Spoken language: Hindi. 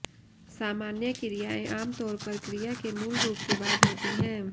सामान्य क्रियाएं आमतौर पर क्रिया के मूल रूप के बाद होती हैं